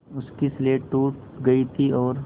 उसकी स्लेट टूट गई थी और